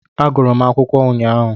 Agụrụ m akwụkwọ ụnyaahụ